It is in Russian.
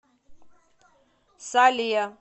сале